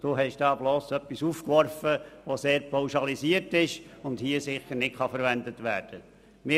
Zaugg hat ein Argument eingeworfen, das hier nicht verwendet werden kann.